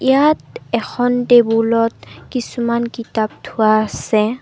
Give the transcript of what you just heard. ইয়াত এখন টেবুলত কিছুমান কিতাপ থোৱা আছে।